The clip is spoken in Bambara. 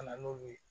Ka na n'u ye